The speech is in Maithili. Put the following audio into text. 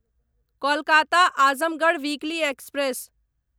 Kolkata Azamgarh weekly express